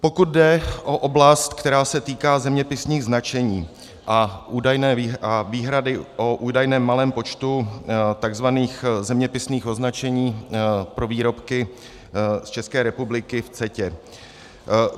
Pokud jde o oblast, která se týká zeměpisných označení a výhrady o údajném malém počtu tzv. zeměpisných označení pro výrobky z České republiky v CETA.